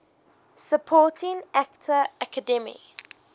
supporting actor academy